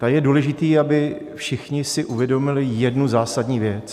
Tady je důležité, aby si všichni uvědomili jednu zásadní věc.